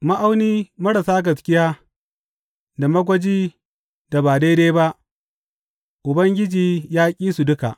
Ma’auni marar gaskiya da magwajin da ba daidai ba, Ubangiji ya ƙi su duka.